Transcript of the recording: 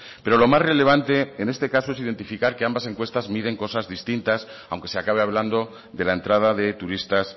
pero lo más relevante en este caso es identificar que ambas encuestas miden cosas distintas aunque se acabe hablando de la entrada de turistas